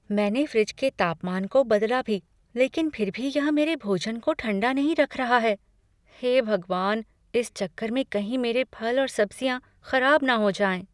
मैंने फ्रिज के तापमान को बदला भी लेकिन फ़िर भी यह मेरे भोजन को ठंडा नहीं रख रहा है। हे भगवान! इस चक्कर में कहीं मेरे फल और सब्ज़ियाँ ख़राब न हो जाएँ।